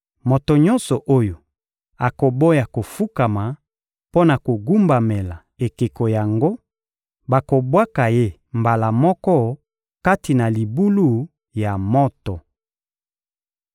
Moto nyonso oyo akoboya kofukama mpo na kogumbamela ekeko yango, bakobwaka ye mbala moko kati na libulu ya moto.»